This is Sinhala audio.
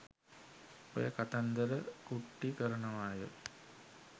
ඔය කතන්දර කුට්ටි කරනවාය